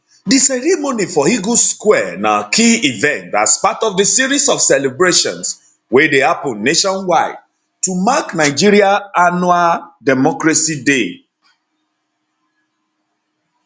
di ceremony for eagles square na key event as part of di series of celebrations wey dey happun nationwide to mark nigeria annual democracy day